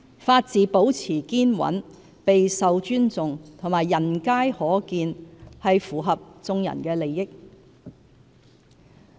法治保持堅穩、備受尊重及人皆可見，是符合眾人的利益。